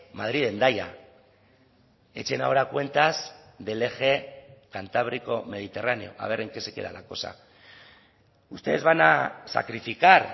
madrid hendaya echen ahora cuentas del eje cantábrico mediterráneo a ver en qué se queda la cosa ustedes van a sacrificar